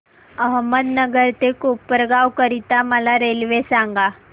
अहमदनगर ते कोपरगाव करीता मला रेल्वे सांगा